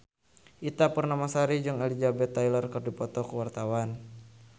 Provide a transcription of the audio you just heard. Ita Purnamasari jeung Elizabeth Taylor keur dipoto ku wartawan